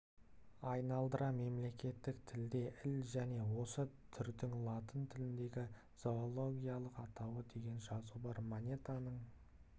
айналдыра мемлекеттік тілде іл және осы түрдің латын тіліндегі зоологиялық атауы деген жазу бар монетаның